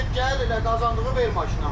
Get gəl elə qazandığını ver maşına.